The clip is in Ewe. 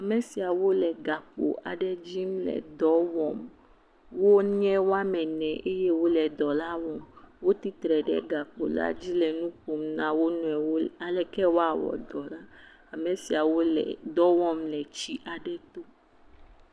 Ame siawo le gakpo aɖe dzim le dɔ wɔm. Wonye woame ene eyewole dɔ la wɔm. Wotsitre ɖe gakpo la dzi le nu ƒom na wo nɔewo aleke woawɔ dɔ la. Ame siawo le dɔ wɔm le tsi aɖe to.